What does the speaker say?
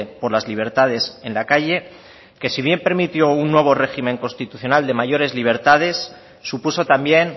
por las libertades en la calle que si bien permitió un nuevo régimen constitucional de mayores libertades supuso también